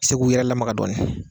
Se k'u yɛrɛ lamaga dɔɔnin